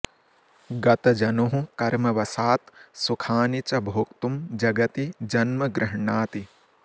गतजनुः कर्मवशात् सुखानि च भोक्तुं जगति जन्म गृह्णाति